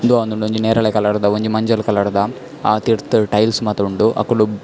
ಉಂದು ಆವೊಂದುಂಡು ಒಂಜಿ ನೇರಳೆ ಕಲರ್ದ ಒಂಜಿ ಮಂಜೊಲ್ ಕಲರ್ದ ಅ ತಿರ್ತುಡು ಟೈಲ್ಸ್ ಮಾತ ಉಂಡು ಅಕುಲು --